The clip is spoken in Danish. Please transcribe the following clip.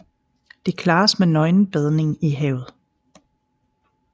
Det klares med nøgenbadning i havet